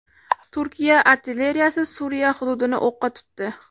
Turkiya artilleriyasi Suriya hududini o‘qqa tutdi.